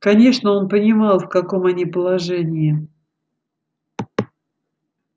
конечно он понимал в каком они положении